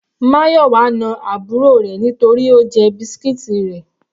Mayowa na àbúrò rẹ̀ nítorí Ó jẹ biscuits rẹ̀.